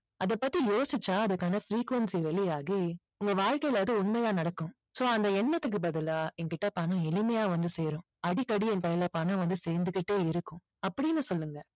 அதை பற்றி யோசிச்சா அதற்கான frequency வெளியாகி உங்க வாழ்கையில அது உண்மையா நடக்கும் so அந்த எண்ணத்துக்கு பதிலா என்கிட்ட பணம் எளிமையா வந்து சேரும் அடிக்கடி என் கைல பணம் வந்து சேர்ந்துகிட்டே இருக்கும் அப்படின்னு சொல்லுங்க